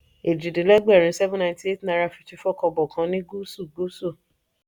eeji-din-legberin seven ninety eight naira fifty four kobo kan ní gúúsù-gúúsù.